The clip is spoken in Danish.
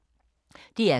DR K